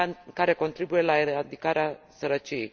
care contribuie la eradicarea sărăciei.